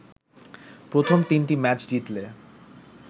প্রথম তিনটি ম্যাচ জিতলে